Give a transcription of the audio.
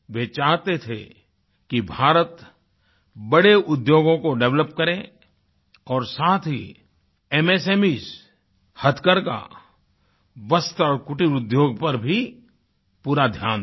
वे चाहते थे कि भारत बड़े उद्योगों को डेवलप करे और साथ ही MSMEsहथकरघा वस्त्र और कुटीर उद्योग पर भी पूरा ध्यान दे